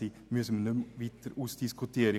Darüber müssen wir nicht weiter diskutieren.